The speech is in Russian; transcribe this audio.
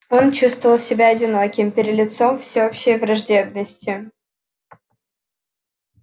он чувствовал себя одиноким перед лицом всеобщей враждебности